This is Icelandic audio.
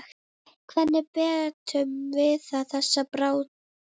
Hvernig metur Viðar þessa baráttu?